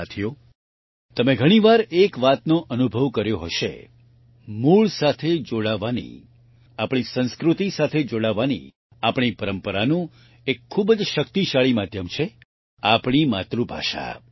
સાથીઓ તમે ઘણી વાર એક વાતનો અનુભવ કર્યો હશે મૂળ સાથે જોડાવાની આપણી સંસ્કૃતિ સાથે જોડાવાની આપણી પરંપરાનું એક ખૂબ જ શક્તિશાળી માધ્યમ છે આપણી માતૃભાષા